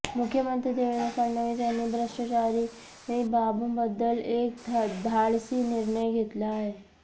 मुख्यमंत्री देवेंद्र फडणवीस यांनी भ्रष्टाचारी बाबूंबद्दल एक धाडसी निर्णय घेतला आहे